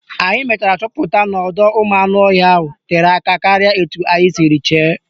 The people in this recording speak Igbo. Anyị mechara chọpụta n'ọdọụmụanụọhịa ahụ tere aka karịa etu anyị siri chee